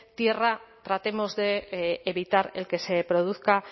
tierra tratemos de evitar el que se produzca